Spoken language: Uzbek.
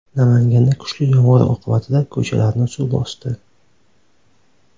Namanganda kuchli yomg‘ir oqibatida ko‘chalarni suv bosdi .